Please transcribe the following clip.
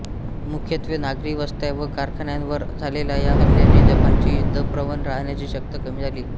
मुख्यत्वे नागरी वस्त्या व कारखान्यांवर झालेल्या या हल्ल्यांनी जपानची युद्धप्रवण राहण्याची शक्ती कमी झाली